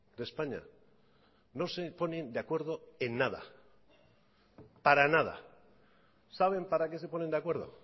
de españa no se ponen de acuerdo en nada para nada saben para qué se ponen de acuerdo